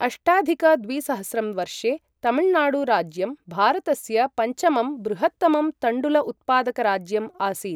अष्टाधिक द्विसहस्रं वर्षे तमिल्नाडु राज्यं भारतस्य पञ्चमं बृहत्तमं तण्डुल उत्पादकराज्यम् आसीत्।